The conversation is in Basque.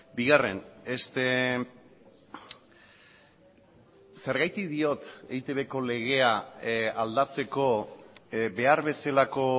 bigarren zergatik diot eitbko legea aldatzeko behar bezalako